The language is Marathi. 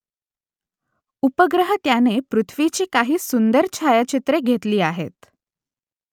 उपग्रह त्याने पृथ्वीची काही सुंदर छायाचित्रं घेतली आहेत